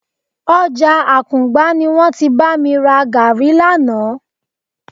Ọjà Àkùngbá ni wọ́n ti bá mi ra gàárì lánàá